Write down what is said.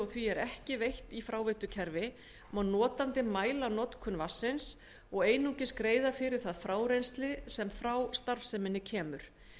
því er ekki veitt í fráveitukerfi má notandi mæla notkun vatnsins og einungis greiða fyrir það frárennsli sem frá starfseminni kemur